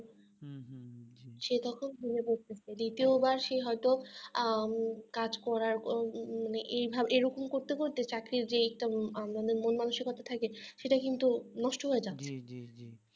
সে তখন মনে করছে দ্বিতীয়বার সে হয়তো আহ কাজ করার এভাবে এরকম করতে করতে চাকরির যেই আমাদের একটা মন মানসিকতা থাকে সেটা কিন্তু নষ্ট হয়ে যাচ্ছে